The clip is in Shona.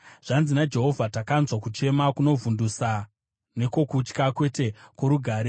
“Zvanzi naJehovha: “ ‘Tinonzwa kuchema kwevanotya, kwokutyisidzirwa, kwete kworugare.